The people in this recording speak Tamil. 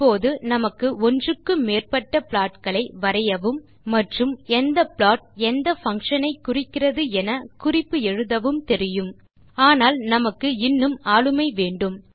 இப்போது நமக்கு ஒன்றுக்கு மேற்பட்ட plotகளை வரையவும் மற்றும் எந்த ப்ளாட் எந்த பங்ஷன் ஐ குறிக்கிறது என குறிப்பு எழுதவும் தெரியும் ஆனால் நமக்கு இன்னும் ஆளுமை வேண்டும்